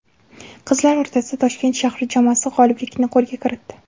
Qizlar o‘rtasida Toshkent shahri jamoasi g‘oliblikni qo‘lga kiritdi.